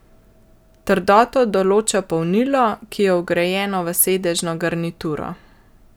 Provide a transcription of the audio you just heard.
Trdoto določa polnilo, ki je vgrajeno v sedežno garnituro.